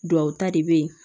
Duwawuta de bɛ yen